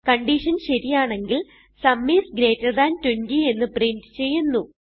condition ശരിയാണെങ്കിൽ sum is greater than 20 എന്ന് പ്രിന്റ് ചെയ്യുന്നു